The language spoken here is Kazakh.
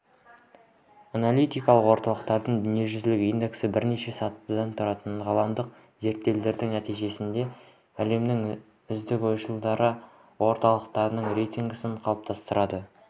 аналитикалық орталықтардың дүниежүзілік индексі бірнеше сатыдан тұратын ғаламдық зерттеулердің нәтижесінде әлемнің үздік ойшыл орталықтарының рейтингісін қалыптастырады